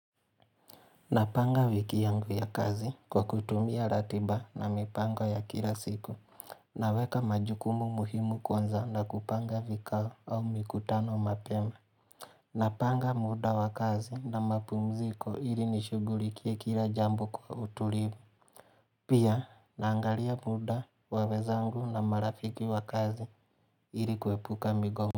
Napanga wiki yangu ya kazi kwa kutumia ratiba na mipango ya kila siku Naweka majukumu muhimu kwanza na kupanga vikao au mikutano mapema Napanga muda wa kazi na mapumziko ili nishugulikie kila jambo kwa utulivu. Pia naangalia muda wa wezangu na marafiki wa kazi ili kuepuka migo.